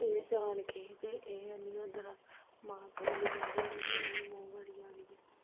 ਤੇ ਜਾਣ ਕੇ ਇਹ ਇਹ ਹੈਨੀ ਹੀ ਓਦਨ ਮਾਤਾ ਵਾਲੀ ਗੱਲ ਹੋਈ, ਨਿਆਣੇ ਮੂੰਹ ਗਾੜੀ ਆਗੇ ਹੀ ਖਰੇ ਜਾਣ ਕੇ।